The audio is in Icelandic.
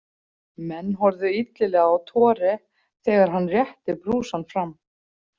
Menn horfðu illilega á Tore þegar hann rétti brúsann fram.